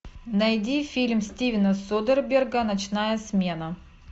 найди фильм стивена содерберга ночная смена